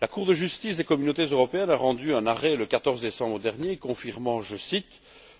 La Cour de justice des Communautés européennes a rendu un arrêt, le 14 septembre dernier, confirmant